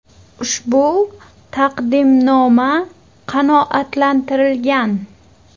Ushbu taqdimnoma qanoatlantirilgan.